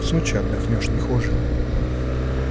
в сочи отдохнёшь не хуже